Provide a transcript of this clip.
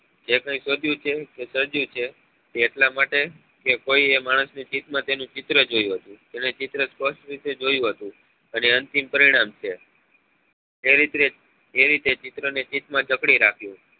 જે કઈ શોધ્યું છે કે સર્જ્યું છે એ એટલા માટે કે કોઈ એ માણસ નાં ચિત માં તેનું ચિત્ર જોયું હતું તેને ચિત્ર સ્પષ્ટ રીતે જોયું હતું અને અંતિમ પરિણામ છે એ રીત્રે એ રીતે ચિત્ર ને ચિત માં જકડી રાખ્યું